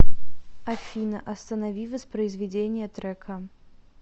афина останови воспроизведение трека